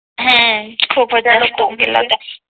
हम्म खूपच जास्त होऊन गेल्या होत्या